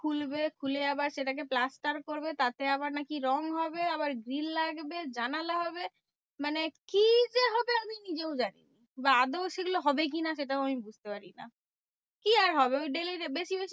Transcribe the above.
খুলবে খুলে আবার সেটাকে plaster করবে। তাতে আবার নাকি রং হবে। আবার grill লাগবে, জানালা হবে। মানে কি যে হবে আমি নিজেও জানি না? বা আদেও সেগুলো হবে কি না সেটাও আমি বুঝতে পারি না? কি আর হবে? ওই daily basis